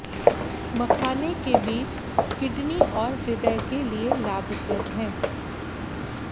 मखाने के बीज किडनी और हृदय के लिये लाभप्रद हैं